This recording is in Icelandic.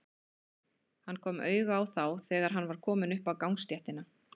Hann kom auga á þá þegar hann var kominn upp á gangstéttina.